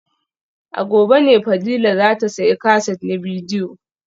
A gobe ne Fadila za ta sayi kaset na bidiyo